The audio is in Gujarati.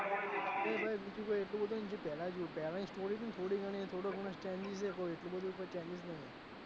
હવે ભાઈ બીજું કઈ એટલું બધું નહી પેલા જેવું પહેલા ની story થોડી ગણી એ થોડું ઘણું standing છે એટલું બધું changes નહી.